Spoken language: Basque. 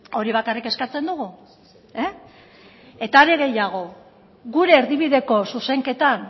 hori bakarrik eskatzen dugu eta are gehiago gure erdibideko zuzenketan